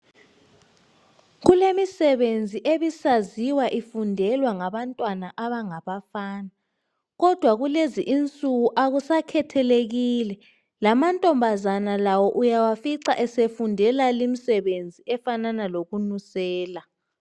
Kulemisebenzi ebisaziwa ifundelwa ngabantwana abangabafana, kodwa kulezi insuku, akusakhethelekile. Lamantombazana lawo uyawafica esefundela limsebenzi efanana lokunusela.